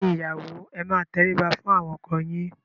Ẹ̀yin ìyàwó ẹ máa tẹrí ba fún àwọn ọkọ yín!